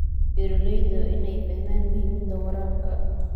Beeralayda waa in ay fahmaan muhiimadda waraabka.